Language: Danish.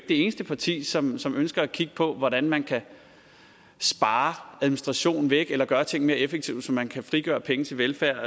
det eneste parti som som ønsker at kigge på hvordan man kan spare administration væk eller gøre ting mere effektivt så man kan frigøre penge til velfærd